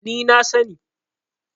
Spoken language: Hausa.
ni na sani